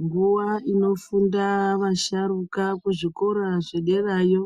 Nguwa inofunda vasharuka kuzvikora zvederayo